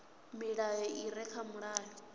milayo i re kha mulayo